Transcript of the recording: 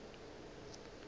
ye nngwe o be a